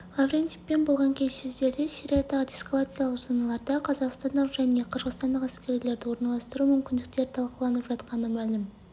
лаврентьевпен болған келісөздерде сириядағы деэскалациялық зоналарда қазақстандық және қырғызстандық әскерилерді орналастыру мүмкіндіктері талқыланып жатқанын мәлім